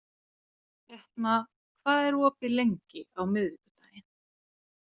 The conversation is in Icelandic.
Etna, hvað er opið lengi á miðvikudaginn?